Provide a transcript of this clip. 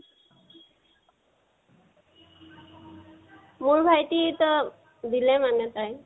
মোৰ ভাইটি তো, দিলে মানে তাই